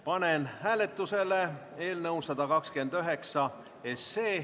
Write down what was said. Panen hääletusele eelnõu 129.